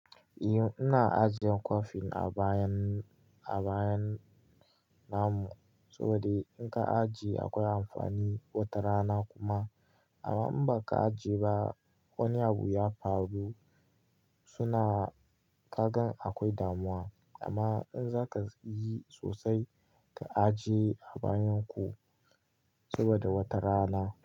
Eh, ina ajiyan coffin a bayan, a bayan na mu saboda in ka ajiye akwai amfani wata rana kuma amma in baka ajiye ba wani abu ya faru suna ka gan akwai damuwa. Amma in zaka yi sosai ka ajiye a bayan ku saboda wata rana.